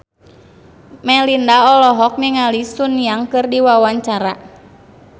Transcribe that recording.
Melinda olohok ningali Sun Yang keur diwawancara